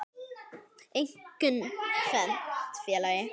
Einkum tvennt, félagi.